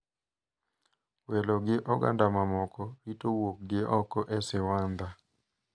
Welo gi oganda mamoko rito wuokgi oko e siwandha.